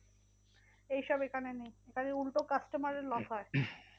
এইসব এখানে নেই এখানে উল্টে customer এর loss হয়।